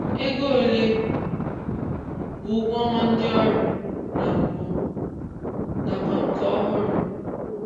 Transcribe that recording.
Ego ole bụ ụgwọọnwa ndị ọrụ na mbụ nakwa nke ọhụrụ?